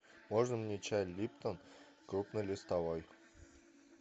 можно мне чай липтон крупнолистовой